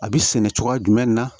A bɛ sɛnɛ cogoya jumɛn na